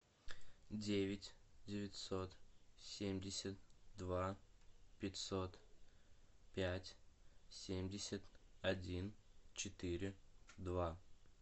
девять девятьсот семьдесят два пятьсот пять семьдесят один четыре два